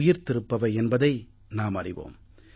உயிர்த்திருப்பவை என்பதை நாம் அறிவோம்